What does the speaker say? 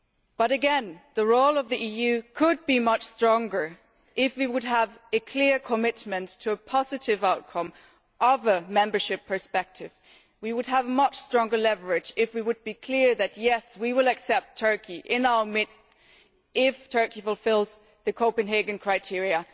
But once again, the role of the EU could be much stronger if we were to have a clear commitment to a positive outcome on prospects for membership. We would have much stronger leverage if we were to be clear that yes, we will accept Turkey in our midst if Turkey fulfils the Copenhagen criteria.